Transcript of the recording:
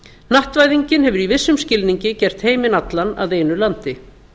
hnattvæðingin hefur í vissum skilningi gert heiminn allan að einu landi